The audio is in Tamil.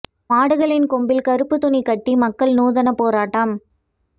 மாடுகளின் கொம்பில் கறுப்பு துணி கட்டி மக்கள் நுாதன போராட்டம்